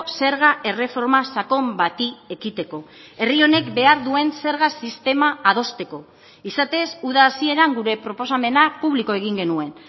zerga erreforma sakon bati ekiteko herri honek behar duen zerga sistema adosteko izatez uda hasieran gure proposamena publiko egin genuen